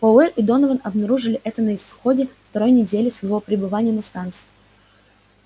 пауэлл и донован обнаружили это на исходе второй недели своего пребывания на станции